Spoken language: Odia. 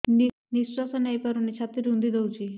ନିଶ୍ୱାସ ନେଇପାରୁନି ଛାତି ରୁନ୍ଧି ଦଉଛି